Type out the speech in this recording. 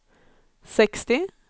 sextio